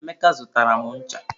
Emeka zụtara m ncha.